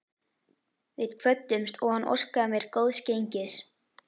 Við kvöddumst og hann óskaði mér góðs gengis.